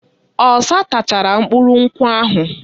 Ọsa tachara mkpụrụ nkwụ ahụ.